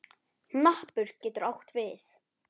Hnappur getur átt við